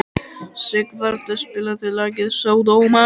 Sigvalda, spilaðu lagið „Sódóma“.